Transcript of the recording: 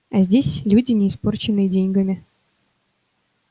а здесь люди не испорченные деньгами